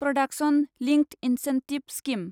production linked incentive scheme